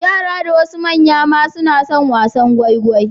Yara da wasu manya ma suna son wasan gwaigwai.